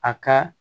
A ka